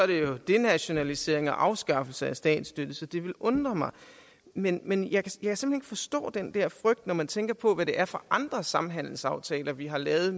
det er denationalisering og afskaffelse af statsstøtte så det ville undre mig men men jeg kan simpelt forstå den der frygt når man tænker på hvad det er for andre samhandelsaftaler vi har lavet